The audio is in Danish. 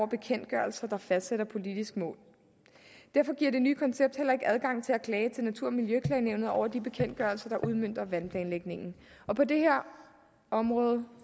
bekendtgørelser der fastsætter politiske mål derfor giver det nye koncept heller ikke adgang til at klage til natur og miljøklagenævnet over de bekendtgørelser der udmønter vandplanlægningen på det her område